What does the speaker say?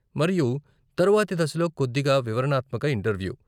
మరియు తరువాతి దశలో కొద్దిగా వివరణాత్మక ఇంటర్వ్యూ.